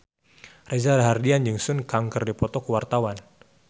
Reza Rahardian jeung Sun Kang keur dipoto ku wartawan